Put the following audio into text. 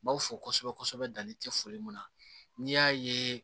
N b'aw fo kosɛbɛ kosɛbɛ danni tɛ foli mun na n'i y'a ye